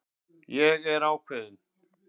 Ég er ákveðin.